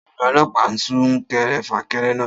Ta ni ọlọ́pàá sún kẹrẹ fà kẹrẹ náà?